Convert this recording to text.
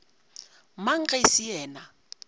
mang ge e se yena